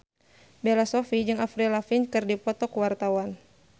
Bella Shofie jeung Avril Lavigne keur dipoto ku wartawan